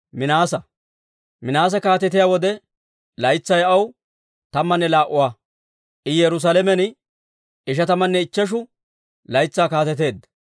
Minaase kaatetiyaa wode, laytsay aw tammanne laa"a; I Yerusaalamen ishatamanne ichcheshu laytsaa kaateteedda.